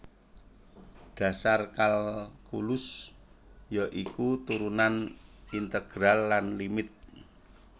Dhasar kalkulus ya iku turunan integral lan limit